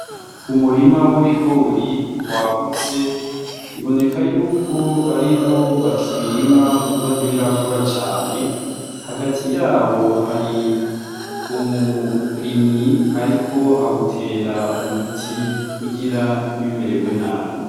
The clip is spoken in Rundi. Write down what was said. Umurima w' ibigori wagutse urimwo biboneka ko ariho bakibirima kuko ntibirakura cane hagati yawo hari umurimyi ariko awutera umuti kugira ntibimeregwe nabi.